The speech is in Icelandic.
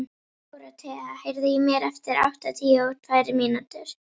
Dorothea, heyrðu í mér eftir áttatíu og tvær mínútur.